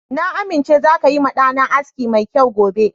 Na amince zaka yi ma ɗa na aski mai kyau gobe.